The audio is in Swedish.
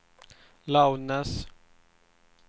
loudness